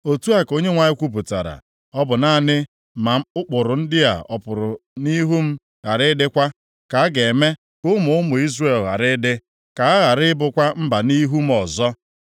Otu a ka Onyenwe anyị kwupụtara, “Ọ bụ naanị ma ụkpụrụ ndị a ọ pụrụ nʼihu m, ghara ịdịkwa, ka a ga-eme ka ụmụ ụmụ Izrel ghara ịdị, ka ha ghara ịbụkwa mba nʼihu m ọzọ.”